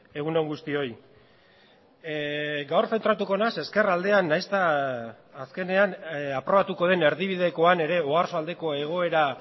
egun on guztioi gaur zentratuko nahiz ezkerraldean nahiz eta azkenean aprobatuko den erdibidekoan ere oarsoaldeko egoera